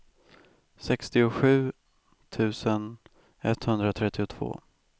sextiosju tusen etthundratrettiotvå